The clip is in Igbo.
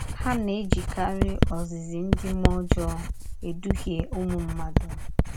Ha na - ejikarị “ ozizi ndị mmụọ ọjọọ ” edụhịe ụmụ mmadụ.